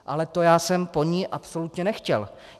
Ale to já jsem po ní absolutně nechtěl.